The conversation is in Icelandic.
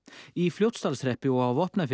í Fljótsdalshreppi og á Vopnafirði